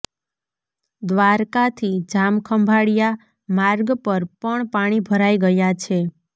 દ્વારકાથી જામખંભાળિયા માર્ગ પર પણ પાણી ભરાઈ ગયા છે